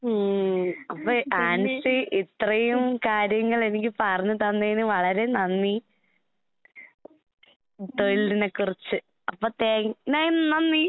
ഉം അപ്പ ആൻസി ഇത്രയും കാര്യങ്ങളെനിക്ക് പറഞ്ഞ് തന്നേന് വളരെ നന്ദി, തൊഴിലിനെക്കുറിച്ച്. അപ്പ താങ്ക് നന്ദി.